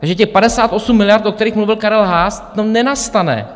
Takže těch 58 miliard, o kterých mluvil Karel Haas, to nenastane.